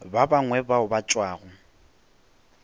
ba bangwe bao ba tšwago